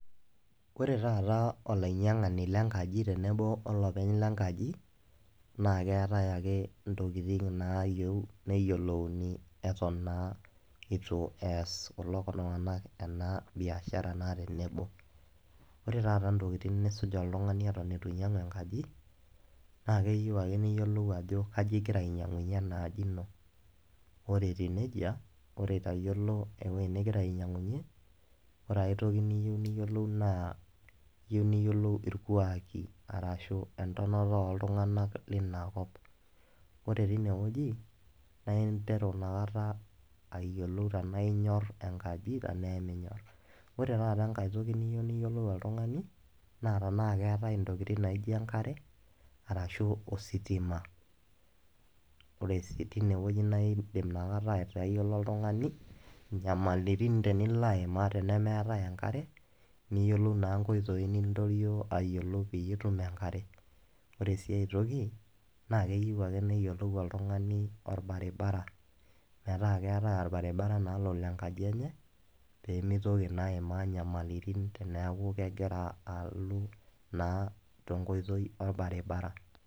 Ore taata olainyangani lenkaji tenebo olopeny lenkaji naa keetae ake ntokitin naayieu nyiolouni eton naa eitu eas kulo tungana ena biashara naa tenebo, ore taata ntokitin nisuj oltungani eton eitu einyangu enkaji naa keyieu ake niyiolou ajo kai ingira ainyangunye ena aji ino ,ore etiu nejia, ore itayiolo ewueji ningira ainyangunye, ore aitoki niyieu niyiolou naa iyieu niyiolou ilkuaaki aashu entonata ooltungana leinakop, ore teine wuejinaa interu nakata ayiolou tenaa inyorr enkaji tenaa eminyorr, ore taata enkae toki niyieu niyiolou oltungani naa tenaa keetai ntokitin naijo enkare, aashu ositima ,ore sii teine wueji naa indim atayiolo oltungani nyamalitin nilo aimaa tenemeetae enkare niyiolou naa nkioi niimaa pee itum enkare, ore ae toki naa keyieu ake niyiolou oltungani tenaa keetae olbaribara metaa keetae olbaribara naa lolo enkaji enye pee meitoki naa aimaa nyamalitin neeku kegira alau naa enkoitoi olbaribara.